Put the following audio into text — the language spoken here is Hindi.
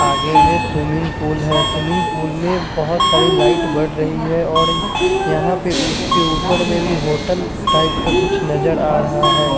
आगे में सुम्मीग पूल है सुम्मीग पूल में बोहत सारी लाइट बढ़ रही है यहां पे उसके ऊपर में भी कुछ होटल टाइप का कुछ नज़र आ रहा है।